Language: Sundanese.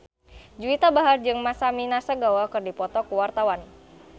Juwita Bahar jeung Masami Nagasawa keur dipoto ku wartawan